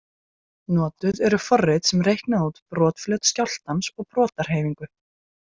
Notuð eru forrit sem reikna út brotflöt skjálftans og brotahreyfingu.